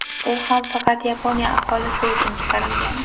U ham faqat Yaponiya aholisi uchun chiqarilgan.